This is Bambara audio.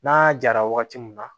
N'a jara wagati min na